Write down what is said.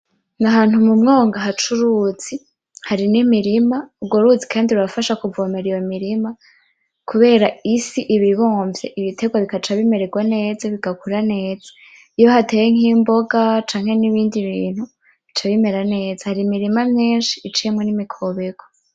N'ahantu mumwonga hac'uruzi ,hari n'imirima ,urwo ruzi kandi rurafasha kuvomera iyo mirima, kubera isi ib'ibomvye ibiterwa bigaca bimererwa neza bigakura neza ;Iyo hateye imboga canke n'ibindi bica bimererwa neza. Hari imirima myinshi iciyemwo n' imikobeko.